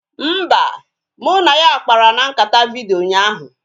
Mba, mụ na ya kpara na nkata vidiyo ụnyaahụ